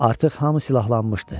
Artıq hamı silahlanmışdı.